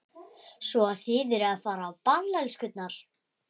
Svo að þið eruð að fara á ball, elskurnar?